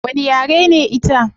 Wani yare ne ita?